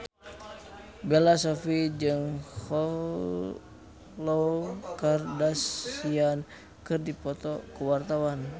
Bella Shofie jeung Khloe Kardashian keur dipoto ku wartawan